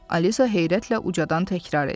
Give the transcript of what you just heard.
Alisa heyrətlə ucdan təkrar etdi.